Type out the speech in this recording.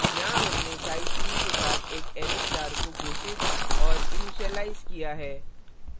यहाँ हमने size 3 के साथ एक array star array star को घोषित और इनिशीलाइज किया है